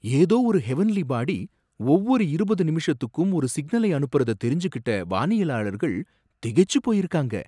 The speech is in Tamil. ஏதோ ஒரு ஹெவென்லி பாடி ஒவ்வொரு இருபது நிமிஷத்துக்கும் ஒரு சிக்னலை அனுப்புறத தெரிஞ்சிகிட்ட வானியலாளர்கள் திகைச்சி போயிருக்காங்க.